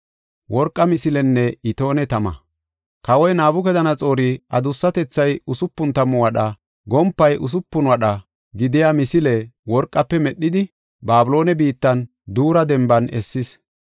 Kawoy Nabukadanaxoori adussatethay usupun tammu wadha, gompay usupun wadha gidiya misile worqafe medhidi, Babiloone biittan Duura Demban essis.